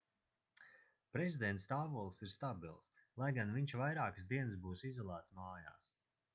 prezidenta stāvoklis ir stabils lai gan viņš vairākas dienas būs izolēts mājās